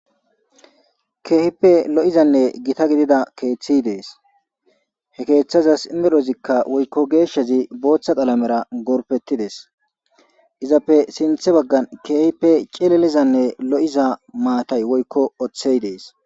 Keehipep lo'izanne gita gidida keeththey dees. He keeththazassi medhdhozi woykko geeshshazi booththa qalamera gorppettides. Izappe sinththe baggan keehippe cililizanne maatay woykko oththey dees.